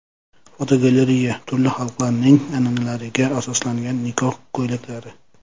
Fotogalereya: Turli xalqlarning an’analariga asoslangan nikoh ko‘ylaklari.